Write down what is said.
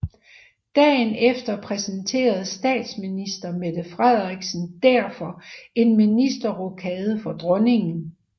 Dagen efter præsenterede statsminister Mette Frederiksen derfor en ministerrokade for Dronningen